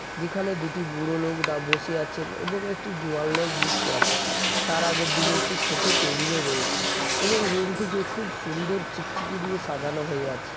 যেখানে দুটি বুড়ো লোক দা বসে আছেন এবং একটি জোয়াল লোক বসে আছে তার আগের দিকে একটি ছোট টেবিল -ও রয়েছে এবং রুমটিকে টিকে খুব সুন্দর চিকচিকি দিয়ে সাজানো হয়ে আছে।